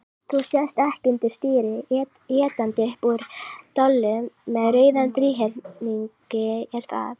Þú sest ekki undir stýri étandi upp úr dollu með rauðum þríhyrningi, er það?